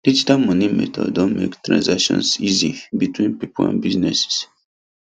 digital money method don make transactions easy between people and businesses